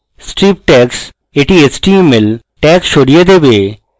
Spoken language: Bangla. strip tags এটি html tags সরিয়ে দেবে